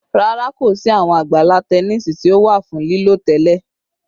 Rara, ko si awọn agbala tẹnisi ti o wa fun lilo tẹlẹ